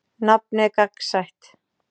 Nafnið er gagnsætt.